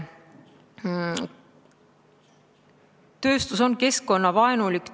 Tööstus on keskkonnavaenulik.